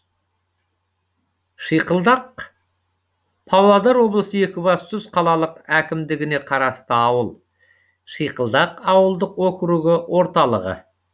шиқылдақ павлодар облысы екібастұз қалалық әкімдігіне қарасты ауыл шиқылдақ ауылдық округі орталығы